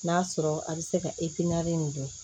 N'a sɔrɔ a bɛ se ka nin dɔn